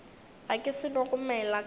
ge ke seno gomela ka